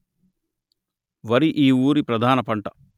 వరి ఈ ఊరి ప్రధాన పంట